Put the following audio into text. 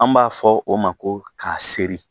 An b'a fɔ o ma ko k'a seri